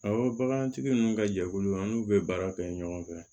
Awɔ bagantigi ninnu ka jɛkulu an n'u bɛ baara kɛ ɲɔgɔn fɛ